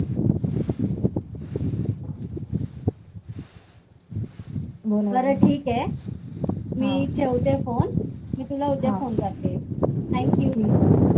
बरं ठिक आहे. मी ठेवते phone मी तुला उद्या phone करते. Thank you. ठीक आहे.